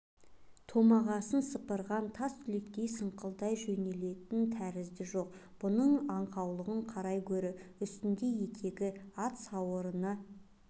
томағасын сыпырған тастүлектей саңқылдай жөнелетін тәрізді жоқ бұның аңқаулығын қарай гөрі үстінде етегі ат сауырына